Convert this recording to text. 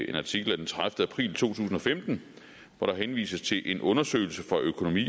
en artikel af tredivete april to tusind og femten hvor der henvises til en undersøgelse for økonomi